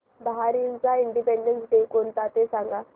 बहारीनचा independence day कोणता ते सांगा